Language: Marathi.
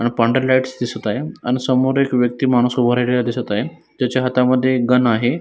अण पांढरी लाइटस दिसत आहे अण समोर एक व्यक्ती माणुस उभा राहिलेला दिसत आहे त्याच्या हातामध्ये एक गन आहे.